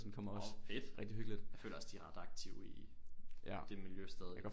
Nåh fedt jeg føler også de er ret aktive i det miljø stadig